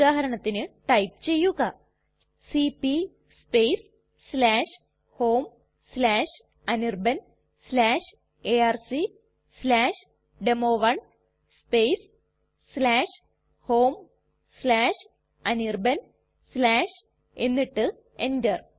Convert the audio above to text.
ഉദാഹരണത്തിന് ടൈപ്പ് ചെയ്യുക C P homeanirbanarcdemo1 homeanirban എന്നിട്ട് enter